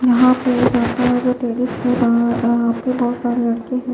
यहां पे एक सोफा है जो यह पे बहुत सारे रखे हुए --